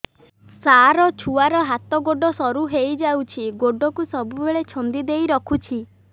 ସାର ଛୁଆର ହାତ ଗୋଡ ସରୁ ହେଇ ଯାଉଛି ଗୋଡ କୁ ସବୁବେଳେ ଛନ୍ଦିଦେଇ ରଖୁଛି